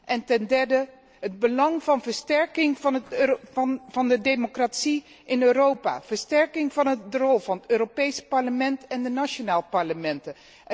En ten derde het belang van versterking van de democratie in Europa, versterking van de rol van het Europees Parlement en de nationale parlementen.